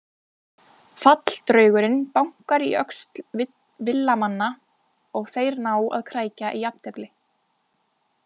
Falldraugurinn bankar í öxl Villa-manna og þeir ná að krækja í jafntefli.